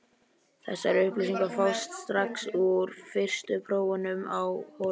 Þessar upplýsingar fást strax úr fyrstu prófunum á holunum.